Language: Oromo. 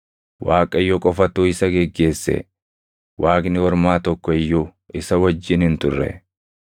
Waaqayyo qofatu isa geggeesse; waaqni ormaa tokko iyyuu isa wajjin hin turre.